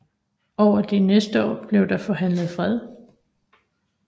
Over de næste år blev der forhandlet fred